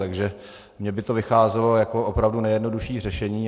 Takže mě by to vycházelo jako opravdu nejjednodušší řešení.